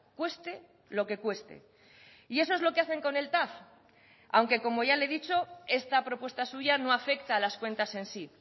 cueste lo que cueste y eso es lo que hacen con el tav aunque como ya le he dicho esta propuesta suya no afecta a las cuentas en sí